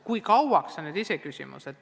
Kui kauaks, see on iseküsimus.